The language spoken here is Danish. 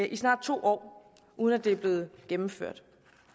i snart to år uden at det er blevet gennemført